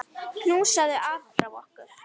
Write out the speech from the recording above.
Knúsaðu afa frá okkur.